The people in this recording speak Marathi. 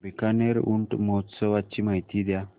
बीकानेर ऊंट महोत्सवाची माहिती द्या